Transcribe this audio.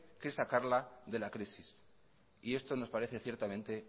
que sacarla de la crisis y esto nos parece ciertamente